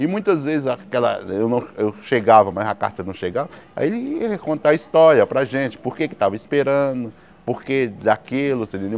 E muitas vezes aquela... Eu não eu chegava, mas a carta não chegava, aí ele ia contar a história para a gente, por que que tava esperando, por que daquilo, você entendeu?